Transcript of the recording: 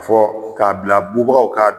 Fɔ k'a bila bubagaw k'a dun